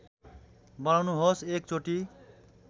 बनाउनुहोस् एक चोटी